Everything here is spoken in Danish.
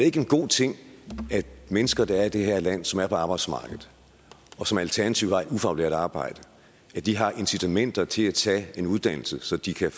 ikke en god ting at mennesker der er i det her land som er på arbejdsmarkedet og som alternativt har et ufaglært arbejde har incitamenter til at tage en uddannelse så de kan